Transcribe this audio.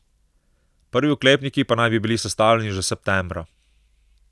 Prvi oklepniki pa naj bi bili sestavljeni že septembra.